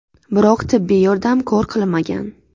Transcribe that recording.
Biroq tibbiy yordam kor qilmagan.